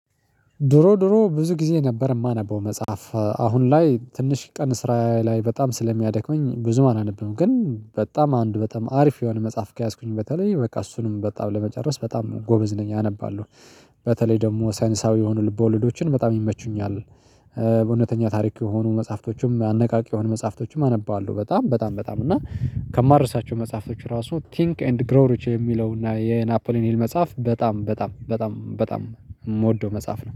ድሮ ድሮ ብዙ ጊዜ ነበር የማነበው መጽሐፍ አሁን ላይ ትንሽ ቀን ስራዬ ላይ በጣም ስለሚያደክመኝ ብዙም አለብኝ ግን በጣም አንድ በጣም አሪፍ የሆነ መጽሐፍ ከያዝኩኝ በተለይ በቃ እሱንም በጣም ለመጨረስ በጣም ጎበዝ ነኝ አነባለሁ። በተለይ ደግሞ ሳይንሳዊ የሆኑ ልቦለዶችን በጣም ይመቹኛል። በእውነተኛ ታሪክ የሆኑ መጽሐፍቶችም አነቃቂ የሆኑ መጽሐፍቶችም አነባለሁ በጣም በጣም በጣም እና ከማርሳቸው መጽሐፎች ራሱ ቲንክ ኤንድ ግሮሪች የሚለው እና የናፖሊን ሂል መጽሐፍ በጣም በጣም በጣም በጣም የምወደው መጽሐፍ ነው